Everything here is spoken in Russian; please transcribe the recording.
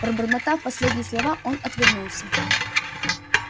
пробормотав последние слова он отвернулся